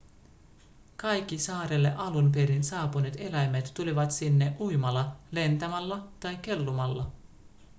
kaikki saarelle alun perin saapuneet eläimet tulivat sinne uimalla lentämällä tai kellumalla